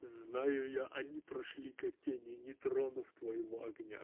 знаю я они прошли как тени не тронув твоего огня